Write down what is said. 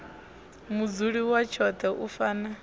mudzuli wa tshoṱhe u fana